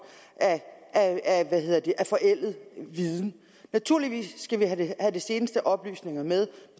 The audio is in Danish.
af forældet viden naturligvis skal vi have have de seneste oplysninger med